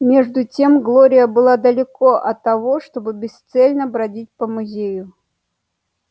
между тем глория была далеко от того чтобы бесцельно бродить по музею